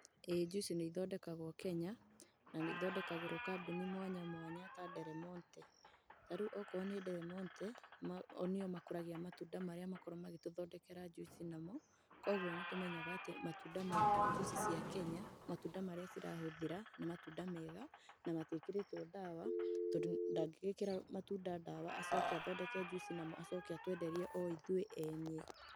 Ĩĩ njuici nĩithondekagwo Kenya, na nĩithondekagirwo kambuni mwanya mwanya ta Delmonte. Na rĩu okorwo nĩ Delmonte, o nĩyo makũragia matunda marĩa makoragwo magĩtũthondekera njuici namo, koguo nĩtũmenyaga atĩ matunda ma njuici cia Kenya matunda marĩa cirahũthĩra, nĩ matunda mega na matiĩkĩrĩtwo ndawa, tondũ ndangĩgĩkĩra matunda ndawa acoke athondeke njuici namo acoke atwenderie o ithuĩ enye.